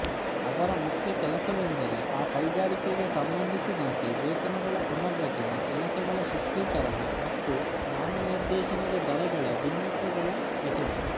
ಅದರ ಮುಖ್ಯ ಕೆಲಸವೆಂದರೆ ಆ ಕೈಗಾರಿಕೆಗೆ ಸಂಬಂಧಿಸಿದಂತೆ ವೇತನಗಳ ಪುನರ್ರಚನೆ ಕೆಲಸಗಳ ಶಿಷ್ಟೀಕರಣ ಮತ್ತು ನಾಮನಿರ್ದೇಶನ ದರಗಳ ಭಿನ್ನಕಗಳ ರಚನೆ